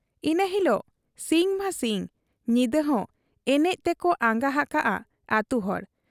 ᱤᱱᱟᱹ ᱦᱤᱞᱚᱜ ᱥᱤᱧ ᱢᱟ ᱥᱤᱧ, ᱧᱤᱫᱟᱹᱦᱚᱸ ᱮᱱᱮᱡ ᱛᱮᱠᱚ ᱟᱸᱜᱟ ᱦᱟᱠᱟᱜ ᱟ ᱟᱹᱛᱩᱦᱚᱲ ᱾